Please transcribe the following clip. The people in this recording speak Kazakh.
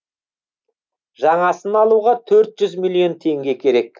жаңасын алуға төрт жүз миллион теңге керек